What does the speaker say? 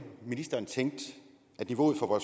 ministeren tænkte niveauet for